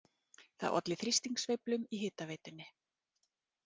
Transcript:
Það olli þrýstingssveiflum í hitaveitunni